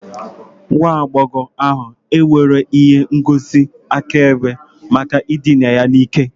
Nwa agbọghọ ahu enweghị ihe ngosi akaebe maka ịdịna ya n'ike